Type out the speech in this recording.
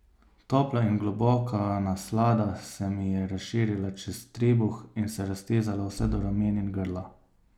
Topla in globoka naslada se mi je razširila čez trebuh in se raztezala vse do ramen in grla.